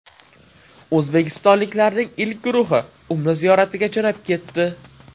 O‘zbekistonliklarning ilk guruhi Umra ziyoratiga jo‘nab ketdi.